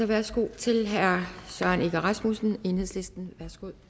værsgo til herre søren egge rasmussen enhedslisten